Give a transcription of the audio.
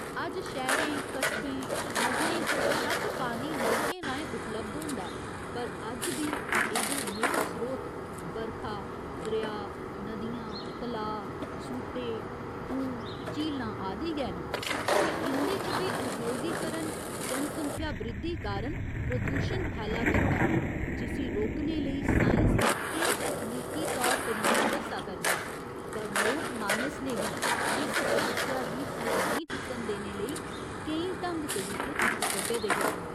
अज्ज शैह्‌रें, कस्बें, नग्गरें च बशक्क पानी नलकें राहें उपलब्ध होंदा ऐ पर अज्ज बी एह्दे मूल स्रोत बरखा, दरेआ, नदियां, तलाऽ, सूह्टे, खूह्, झीलां आदि गै न ते इं'दे च बी उद्योगीकरण जनसंख्या बृद्धि कारण प्रदूशण फैला करदा ऐ, जिस्सी रोकने लेई साइंस केईं तकनीकी तौर तरीके दस्सा करदा ऐ पर लोकमानस ने बी इस समस्या गी सिर नेईं चुक्कन देने लेई केईं ढंग तरीके तुप्पी कड्ढे दे हे।